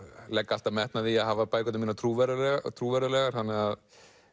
legg alltaf metnað í að hafa bækurnar mínar þannig að